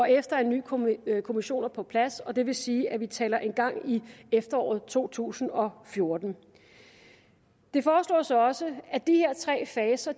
efter en ny kommission kommission er på plads og det vil sige at vi taler om en gang i efteråret to tusind og fjorten det foreslås også at de her tre faser